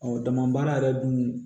dama baara yɛrɛ dun